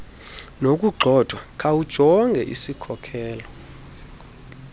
nokugxothwa khawujonge isikhokelo